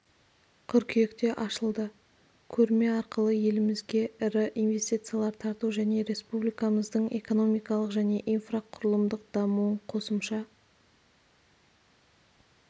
қыркүйекте ашылды көрме арқылы елімізге ірі инвестициялар тарту және республикамыздың экономикалық және инфрақұрылымдық дамуын қосымша